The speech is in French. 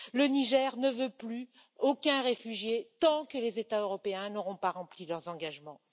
Le Niger ne veut plus aucun réfugié tant que les États européens n'auront pas rempli leurs engagements.